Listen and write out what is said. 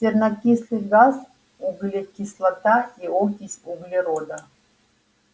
сернокислый газ углекислота и окись углерода